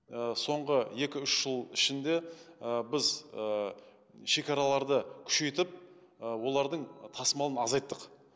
ы соңғы екі үші жыл ішінде ы біз ы шекараларды күшейтіп олардың тасымалын азайттық